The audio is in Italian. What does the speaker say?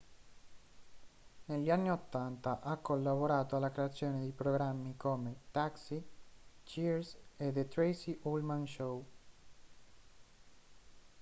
negli anni 80 ha collaborato alla creazione di programmi come taxi cheers e the tracey ullman show